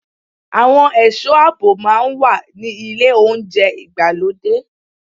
Àwọn ẹ̀sọ́ àbò máa ń wà ní ilé oúnjẹ ìgbàlódé.